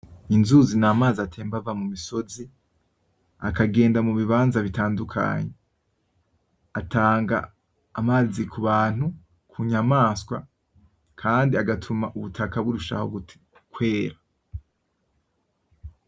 Inzuzi ni amazi atemba ava mu misozi akagenda mu bibanza bitandukanye, atanga amazi kubantu, ku nyamaswa kandi agatuma ubutaka burushaho kwera.